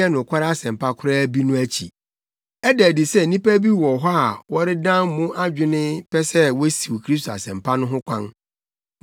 a ɛnyɛ nokware asɛmpa koraa bi no akyi. Ɛda adi sɛ nnipa bi wɔ hɔ a wɔredan mo adwene pɛ sɛ wosiw Kristo Asɛmpa no ho kwan.